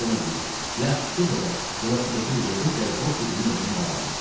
Mən də ona deyirəm: Yaxşı, get evə, velosipedini də götür gəl Bob bir dilinin evinin qabağına.